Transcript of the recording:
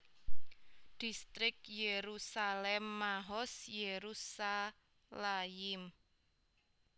Distrik Yerusalem Mahoz Yerushalayim